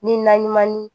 Ni naɲuman ni